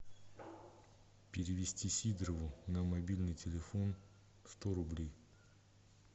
перевести сидорову на мобильный телефон сто рублей